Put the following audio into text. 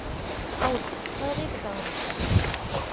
Ári, hvaða vikudagur er í dag?